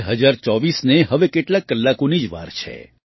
2024ને હવે કેટલાક કલાકોની જ વાર છે